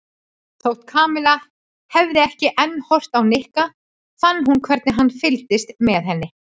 Þótt Kamilla hefði ekki enn horft á Nikka fann hún hvernig hann fylgdist með henni.